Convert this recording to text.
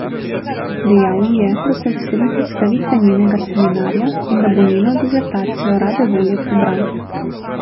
Dejal ji je, da se veseli predstavitve njenega seminarja in da bo njeno disertacijo rade volje prebral.